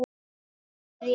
sé rétt.